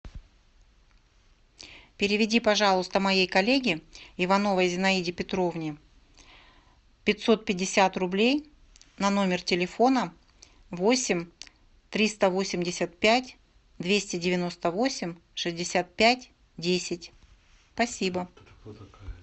переведи пожалуйста моей коллеге ивановой зинаиде петровне пятьсот пятьдесят рублей на номер телефона восемь триста восемьдесят пять двести девяносто восемь шестьдесят пять десять спасибо